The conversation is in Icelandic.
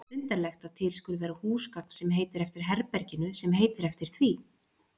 Undarlegt að til skuli vera húsgagn sem heitir eftir herberginu sem heitir eftir því.